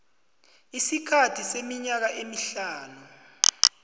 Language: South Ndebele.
isikhathi seminyaka emihlanu